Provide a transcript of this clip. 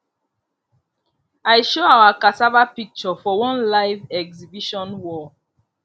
i show our cassava picture for one live exhibition wall